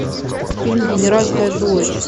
фильм генеральская дочь